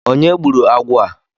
Onye gburu agwọ á?